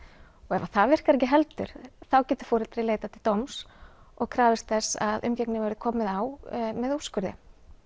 ef að það virkar ekki heldur þá getur foreldrið leitað til dóms og krafist þess að umgengni verði komið á með úrskurði